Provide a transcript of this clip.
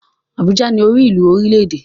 Abuja ni orílùú orílẹ́-èdè.